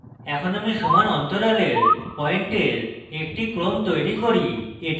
in আমি সমান অন্তরালের পয়েন্টের একটি ক্রম তৈরি করি